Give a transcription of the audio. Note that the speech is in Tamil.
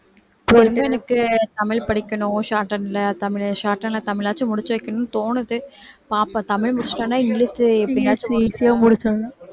எனக்கு தமிழ் படிக்கணும் shorthand ல தமிழ் shorthand ல தமிழாச்சும் முடிச்சு வைக்கணும்னு தோணுது பார்ப்போம் தமிழ் முடிச்சுட்டேன்னா இங்கிலீஷ் எப்படியாச்சும் easy யா முடிச்சுடணும்